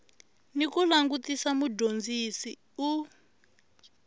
ni ku langutisa mudyondzi u